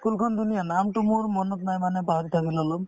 ই school খন ধুনীয়া নামটো মোৰ মনত নাই মানে পাহৰি থাকিলো অলপ